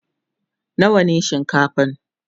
nawa ne shinkafan?